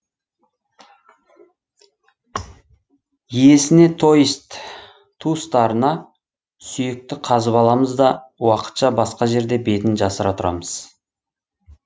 иесіне то есть туыстарына сүйекті қазып аламыз да уақытша басқа жерде бетін жасыра тұрамыз